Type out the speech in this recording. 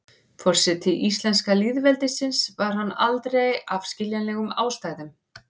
forseti íslenska lýðveldisins var hann aldrei af skiljanlegum ástæðum